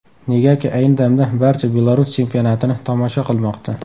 Negaki ayni damda barcha Belarus chempionatini tomosha qilmoqda.